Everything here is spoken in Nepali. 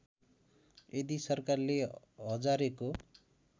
यदि सरकारले हजारेको